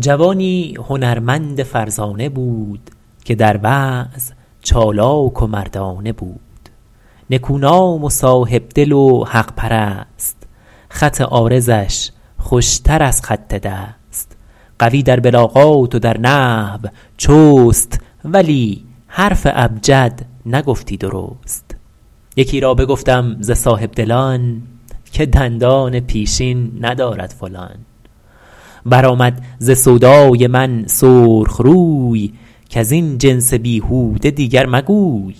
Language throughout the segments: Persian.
جوانی هنرمند فرزانه بود که در وعظ چالاک و مردانه بود نکونام و صاحبدل و حق پرست خط عارضش خوشتر از خط دست قوی در بلاغات و در نحو چست ولی حرف ابجد نگفتی درست یکی را بگفتم ز صاحبدلان که دندان پیشین ندارد فلان برآمد ز سودای من سرخ روی کز این جنس بیهوده دیگر مگوی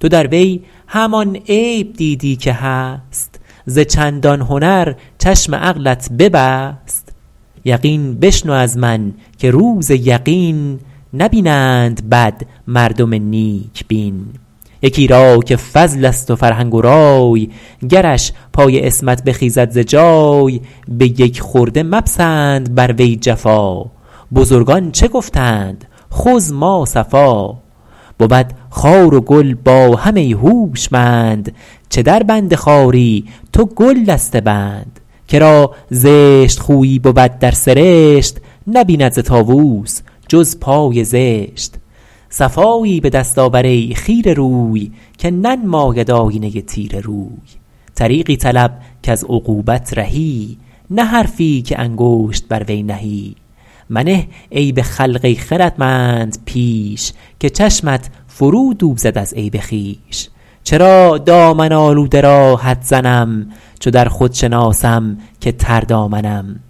تو در وی همان عیب دیدی که هست ز چندان هنر چشم عقلت ببست یقین بشنو از من که روز یقین نبینند بد مردم نیک بین یکی را که فضل است و فرهنگ و رای گرش پای عصمت بخیزد ز جای به یک خرده مپسند بر وی جفا بزرگان چه گفتند خذ ما صفا بود خار و گل با هم ای هوشمند چه در بند خاری تو گل دسته بند که را زشت خویی بود در سرشت نبیند ز طاووس جز پای زشت صفایی به دست آور ای خیره روی که ننماید آیینه تیره روی طریقی طلب کز عقوبت رهی نه حرفی که انگشت بر وی نهی منه عیب خلق ای خردمند پیش که چشمت فرو دوزد از عیب خویش چرا دامن آلوده را حد زنم چو در خود شناسم که تر دامنم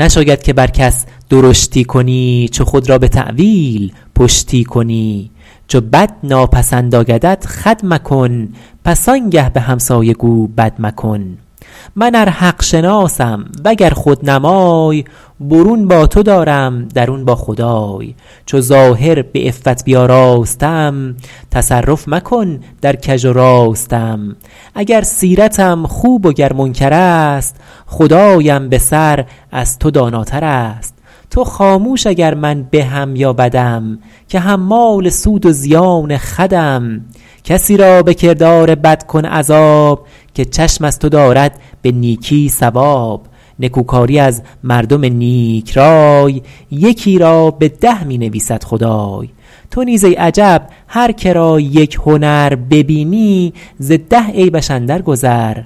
نشاید که بر کس درشتی کنی چو خود را به تأویل پشتی کنی چو بد ناپسند آیدت خود مکن پس آنگه به همسایه گو بد مکن من ار حق شناسم وگر خود نمای برون با تو دارم درون با خدای چو ظاهر به عفت بیاراستم تصرف مکن در کژ و راستم اگر سیرتم خوب و گر منکر است خدایم به سر از تو داناتر است تو خاموش اگر من بهم یا بدم که حمال سود و زیان خودم کسی را به کردار بد کن عذاب که چشم از تو دارد به نیکی ثواب نکو کاری از مردم نیک رای یکی را به ده می نویسد خدای تو نیز ای عجب هر که را یک هنر ببینی ز ده عیبش اندر گذر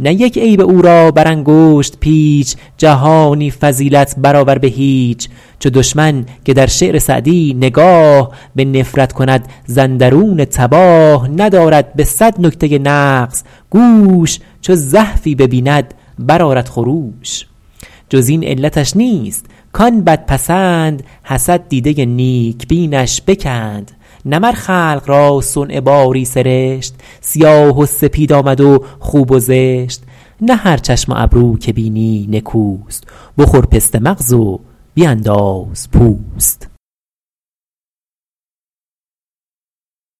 نه یک عیب او را بر انگشت پیچ جهانی فضیلت بر آور به هیچ چو دشمن که در شعر سعدی نگاه به نفرت کند ز اندرون تباه ندارد به صد نکته نغز گوش چو زحفی ببیند بر آرد خروش جز این علتش نیست کان بد پسند حسد دیده نیک بینش بکند نه مر خلق را صنع باری سرشت سیاه و سپید آمد و خوب و زشت نه هر چشم و ابرو که بینی نکوست بخور پسته مغز و بینداز پوست